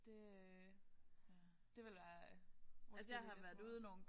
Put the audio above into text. Det øh det ville være måske lige lidt for meget